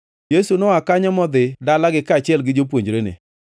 Yesu noa kanyo modhi dalagi kaachiel gi jopuonjrene.